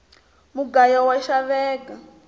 mugayu wa xaveka